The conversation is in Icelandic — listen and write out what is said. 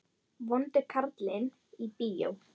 Vondi karlinn í bíó?